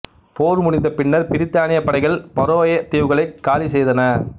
போர் முடிந்தபின்னர் பிரித்தானியப் படைகள் பரோயே தீவுகளைக் காலி செய்தன